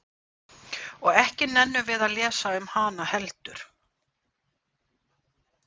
Og ekki nennum við að lesa um hana heldur?